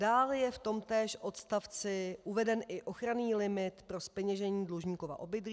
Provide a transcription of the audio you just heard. Dále je v tomtéž odstavci uveden i ochranný limit pro zpeněžení dlužníkova obydlí.